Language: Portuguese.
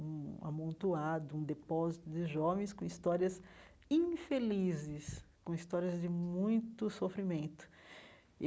um amontoado, um depósito de jovens com histórias infelizes, com histórias de muito sofrimento e.